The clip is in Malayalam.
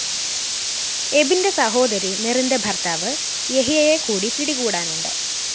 എബിന്റെ സഹോദരി മെറിന്റെ ഭര്‍ത്താവ് യഹിയയെ കൂടി പിടികൂടാനുണ്ട്